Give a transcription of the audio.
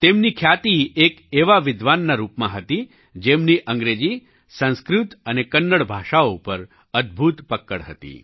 તેમની ખ્યાતિ એક એવા વિદ્વાનના રૂપમાં હતી જેમની અંગ્રેજી સંસ્કૃત અને કન્નડ ભાષાઓ પર અદ્ભુત પક્કડ હતી